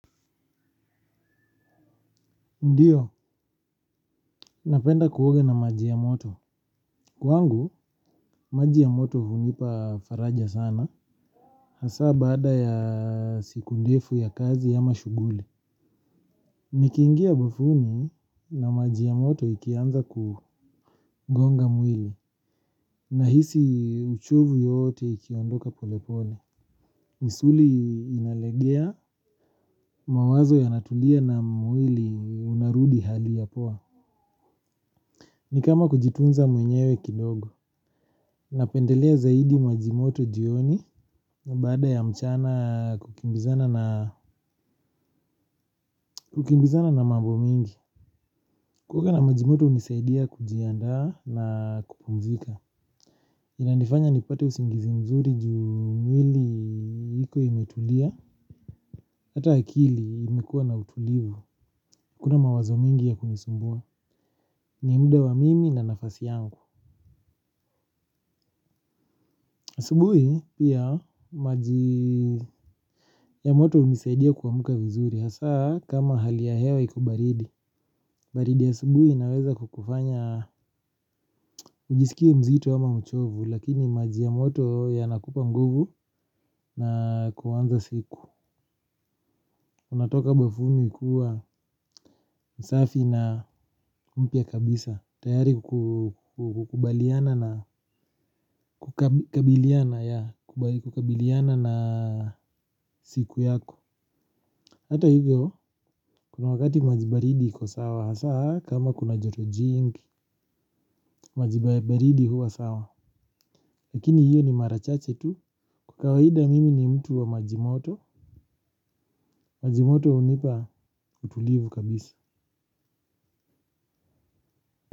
Ndiyo, napenda kuoga na maji ya moto. Kwangu, maji ya moto hunipa faraja sana. Hasa baada ya siku ndefu ya kazi ama shughuli. Nikiingia bafuni na maji ya moto ikianza kugonga mwili. Nahisi uchovu yote ikiondoka polepole. Misuli inalegea mawazo yanatulia na mwili unarudi hali ya poa. Ni kama kujitunza mwenyewe kidogo. Napendelea zaidi maji moto jioni na baada ya mchana kukimbizana na mambo mingi. Kuoga na maji moto hunisaidia kujiandaa na kupumzika. Inanifanya nipate usingizi mzuri ju mwili iko imetulia. Hata akili imekua na utulivu. Hakuna mawazo mingi ya kunisumbua. Ni mda wa mimi na nafasi yangu. Asubuhi pia maji ya moto hunisaidia kuamka vizuri. Hasa kama hali ya hewa iko baridi. Baridi ya asubuhi inaweza kukufanya ujisikie mzito ama mchovu. Lakini maji ya moto yanakupa nguvu na kuanza siku. Unatoka bafuni ukiwa msafi na mpya kabisa. Tayari kukubaliana na siku yako. Hato hivyo kuna wakati maji baridi iko sawa. Hasa kama kuna joto jingi. Maji baridi huwa sawa. Lakini hiyo ni mara chache tu. Kwa kawaida mimi ni mtu wa maji moto. Maji moto hunipa utulivu kabisa.